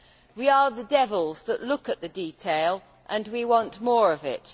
We are the devils that look at the detail, and we want more of it.